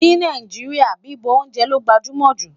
ní Nàìjíríà, bibọ oúnjẹ ló gbajúmò jù